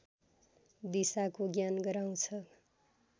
दिशाको ज्ञान गराउँछ